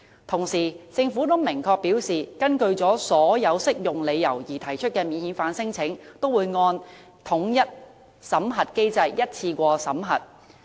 同時，政府已明確表示，根據所有適用理由而提出的免遣返聲請也會按統一審核機制，一次過審核。